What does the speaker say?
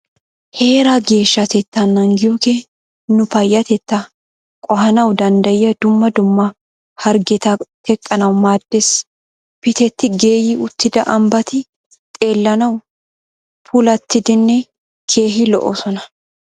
Heeraa geeshshatettaa naagiyogee nu payyatettaa qohanawu danddayiya dumma dumma harggeta teqqanawu maaddees. Pitetti geeyi uttida ambbati xeellanawu puulatidinne keehi lo"oosona.